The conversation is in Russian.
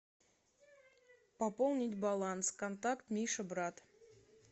пополнить баланс контакт миша брат